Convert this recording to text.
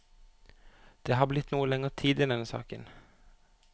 Det har blitt noe lenger tid i denne saken.